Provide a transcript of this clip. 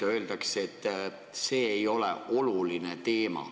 Aga öeldakse, et see ei ole oluline teema.